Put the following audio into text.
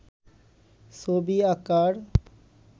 ছবি আঁকার